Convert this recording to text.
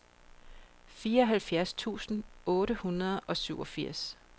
fireoghalvfjerds tusind otte hundrede og syvogfirs